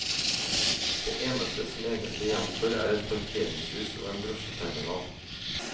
Det eneste som egentlig gjenstår er et parkeringshus og en drosjeterminal.